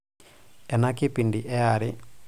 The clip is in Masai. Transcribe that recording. ena kipindi ee are